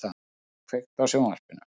Dana, kveiktu á sjónvarpinu.